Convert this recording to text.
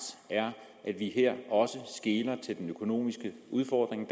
er at vi her også skeler til den økonomiske udfordring